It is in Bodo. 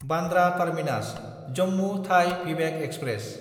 बान्द्रा टार्मिनास–जम्मु थाइ भिभेक एक्सप्रेस